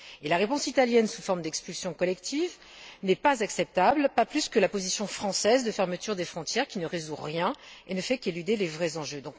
Et la réponse italienne sous forme d'expulsion collective n'est pas acceptable, pas plus que la position française de fermeture des frontières, qui ne résout rien et ne fait qu'éluder les vrais enjeux.